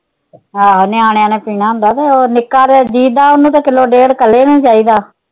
ਆਹੋ ਨਿਆਣਿਆਂ ਨੇ ਪੀਣਾ ਹੁੰਦਾ ਤੇ ਉਹ ਨਿੱਕਾ ਦਾ ਉਹਨੂੰ ਤਾ ਕਿੱਲੋ ਡੇਢ਼ ਇਕੱਲੇ ਨੂੰ ਚਾਹੀਦਾ।